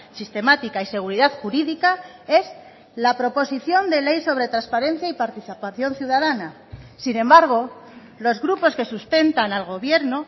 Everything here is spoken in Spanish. sistemática y seguridad jurídica es la proposición de ley sobre transparencia y participación ciudadana sin embargo los grupos que sustentan al gobierno